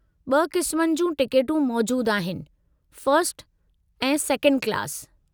ब॒ क़िस्मनि जूं टिकटूं मौजूदु आहिनि ; फ़र्स्ट ऐं सेकेंड क्लास।